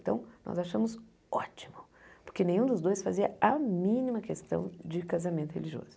Então, nós achamos ótimo, porque nenhum dos dois fazia a mínima questão de casamento religioso.